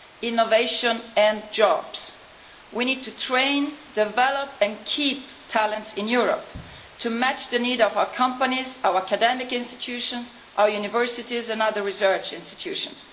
innovation and jobs. We need to train, develop and keep talents in Europe to match the needs of our companies, our academic institutions, our universities and other research institutions.